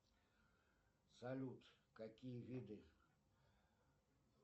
салют какие виды